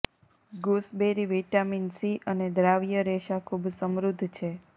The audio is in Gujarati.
ગૂસબેરી વિટામિન સી અને દ્રાવ્ય રેસા ખૂબ સમૃદ્ધ છે